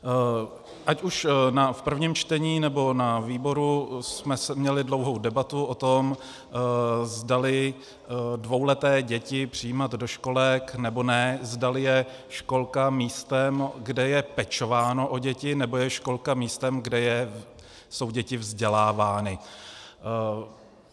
Ať už na prvním čtení, nebo na výboru jsme měli dlouhou debatu o tom, zdali dvouleté děti přijímat do školek, nebo ne, zdali je školka místem, kde je pečováno o děti, nebo je školka místem, kde jsou děti vzdělávány.